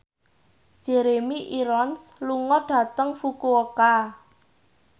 Jeremy Irons lunga dhateng Fukuoka